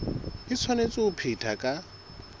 e tshwanetse ho phethwa ka